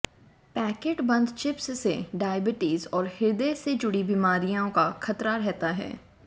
packet बंद chips से diabetes और हृदय से जुड़ी बीमारियां का खतरा रहता है